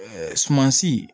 sumansi